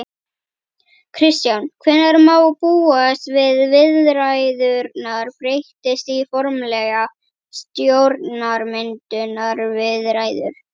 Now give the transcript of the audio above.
Kristján: Hvenær má búast við viðræðurnar breytist í formlegar stjórnarmyndunarviðræður?